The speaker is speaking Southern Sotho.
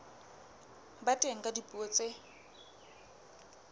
ba teng ka dipuo tse